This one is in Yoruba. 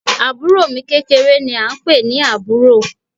Àbúro mi kékeré ni a n pè ní Àbúro